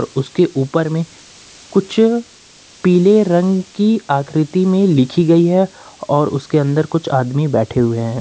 उसके ऊपर में कुछ पीले रंग की आकृति में लिखी गई है और उसके अंदर कुछ आदमी बैठे हुए हैं।